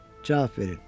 Cavab verin.